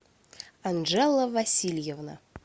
анжела васильевна